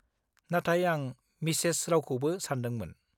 नाथाय आं मिसेस रावखौबो सानदोंमोन।